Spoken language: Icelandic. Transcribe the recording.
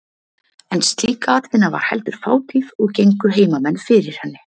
En slík atvinna var heldur fátíð og gengu heimamenn fyrir henni.